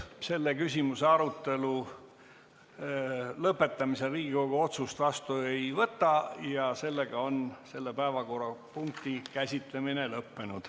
Selle küsimuse arutelu lõpetamisel Riigikogu otsust vastu ei võta ja selle päevakorrapunkti käsitlemine on lõppenud.